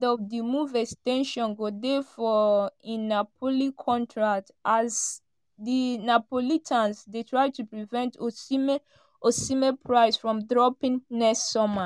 of di move ex ten sion go dey for im napoli contract as di neapolitans dey try to prevent osimhen osimhen price from dropping next summer